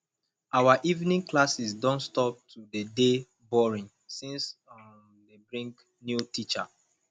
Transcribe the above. our evening classes don stop to dey dey boring since um dey bring new teacher